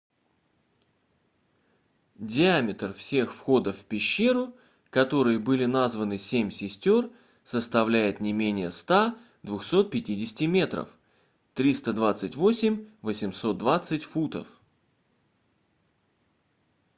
диаметр всех входов в пещеру которые были названы семь сестёр составляет не менее 100-250 метров 328-820 футов